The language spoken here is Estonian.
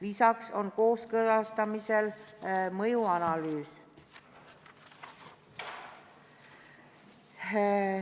Lisaks on kooskõlastamisel mõjuanalüüs.